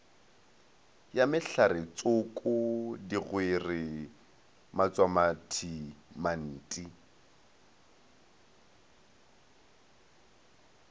ya mehlaretsoko digwere matswamathi manti